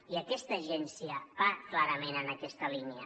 i aquesta agència va clarament en aquesta línia